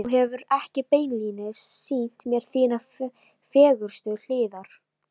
Þú hefur ekki beinlínis sýnt mér þínar fegurstu hliðar.